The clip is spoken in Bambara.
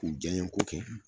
K'u janɲe ko kɛ